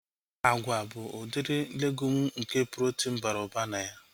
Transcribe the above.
Agwa bụ udiri legumu nke protin bara ụba na ya